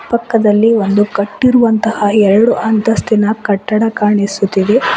ಪಕ್ಕದಲ್ಲಿ ಒಂದು ಕಟ್ಟಿರುವಂತಹ ಎರಡು ಅಂತಸ್ತಿನ ಕಟ್ಟಡ ಕಾಣಿಸುತ್ತಿದೆ.